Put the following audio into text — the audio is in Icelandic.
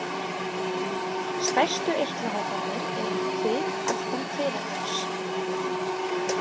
Stærstu eitlahóparnir eru í kvið aftan kviðarhols.